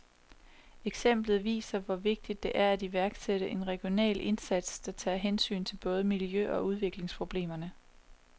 Eksemplet viser, hvor vigtigt det er at iværksætte en regional indsats, der tager hensyn til både miljø- og udviklingsproblemerne.